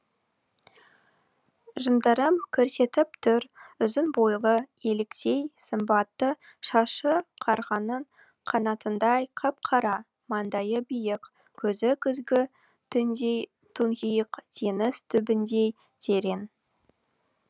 жындарым көрсетіп тұр ұзын бойлы еліктей сымбатты шашы қарғаның қанатындай қап қара маңдайы биік көзі күзгі түндей тұңғиық теңіз түбіндей терең